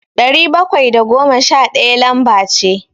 Dari bakwai da goma sha ɗaya lamba ce.